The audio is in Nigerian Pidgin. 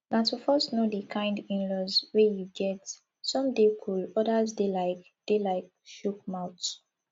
na to first know di kind inlaws wey you get some dey cool odas dey like dey like chook mouth